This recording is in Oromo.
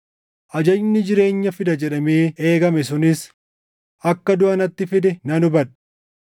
Ajajni jireenya fida jedhamee eegame sunis akka duʼa natti fide nan hubadhe.